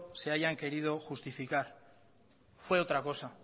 se hayan querido justificar fue otra cosa